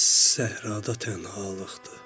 Səhrada tənhalıqdır.